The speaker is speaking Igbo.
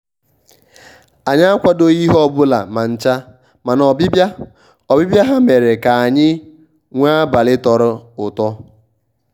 anyị akwadoghị ihe ọbụla ma ncha mana ọbịbịa ọbịbịa ha mere ka anyị nwee abalị tọrọ ụtọ